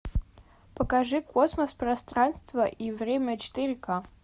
покажи космос пространство и время четыре ка